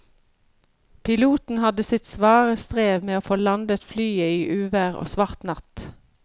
Piloten hadde sitt svare strev med å få landet flyet i uvær og svart natt.